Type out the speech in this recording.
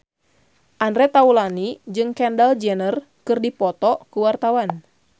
Andre Taulany jeung Kendall Jenner keur dipoto ku wartawan